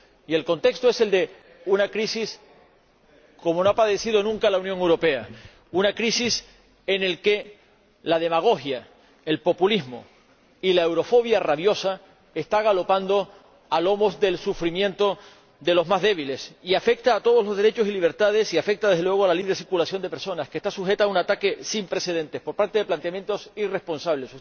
Y el contexto es el de una crisis como no ha padecido nunca otra la Unión Europea, una crisis en la que la demagogia, el populismo y la eurofobia rabiosa están galopando a lomos del sufrimiento de los más débiles, una crisis que afecta a todos los derechos y libertades, y afecta, desde luego, a la libre circulación de personas, que está sujeta a un ataque sin precedentes por parte de planteamientos irresponsables.